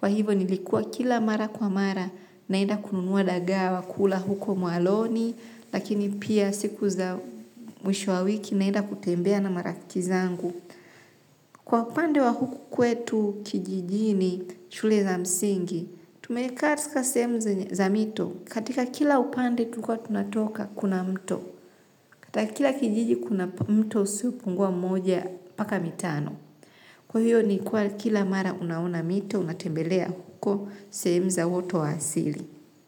Kwa hivo nilikua kila mara kwa mara naenda kununua dagaa wa kula huko mwaloni lakini pia siku za mwisho wa wiki naenda kutembea na marafiki zangu. Kwa upande wa huku kwetu kijijini shule za msingi, tumekaa katika sehemu za mito katika kila upande tulikua tunatoka kuna mto. Katika kila kijiji kuna mto usiopungua mmoja mpaka mitano. Kwa hivyo ni kwa kila mara unaona mito, unatembelea huko, sehemu za uoto wa asili.